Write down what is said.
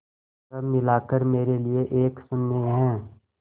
सब मिलाकर मेरे लिए एक शून्य है